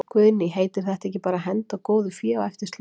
Guðný: Heitir þetta ekki bara að henda góðu fé á eftir slæmu?